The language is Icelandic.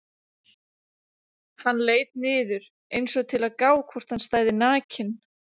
Hann leit niður einsog til að gá hvort hann stæði nakinn.